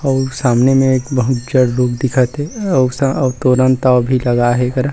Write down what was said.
अउ सामने मे एक बहुत जड़ रूख दिखत हे अउ सह ओह तोरन ताव भी लगा हे एकरा--